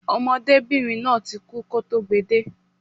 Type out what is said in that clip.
Ọmọdébìnrin náà ti kú kọ́ tó gbe de